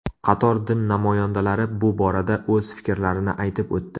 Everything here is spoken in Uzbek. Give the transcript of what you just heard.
Qator din namoyandalari bu borada o‘z fikrlarini aytib o‘tdi.